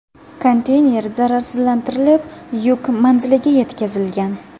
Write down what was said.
Konteyner zararsizlantirilib yuk manziliga yetkazilgan.